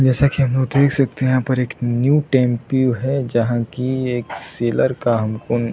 जैसा की हम लोग देख सकते है यहाँ पर एक न्यू टेम्पो है जहाँ की एक सेलर का हम को --